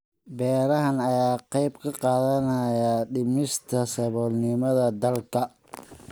Beerahan ayaa ka qayb qaadanaya dhimista saboolnimada dalka.